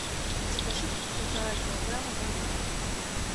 закажи полтора килограмма бананов